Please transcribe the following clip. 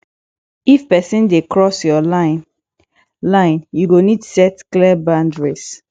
if pesin dey cross yur line line yu go nid set clear boundaries